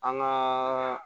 An gaa